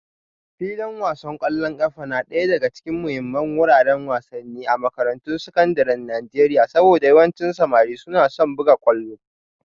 Filin wasan kwallon kafa na daya daga cikin muhimman wuraren wasanni a makarantun sakandaren Najeriya saboda yawancin samari suna son buga kwallo